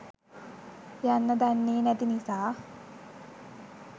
යන්න දන්නෙ නැති නිසා.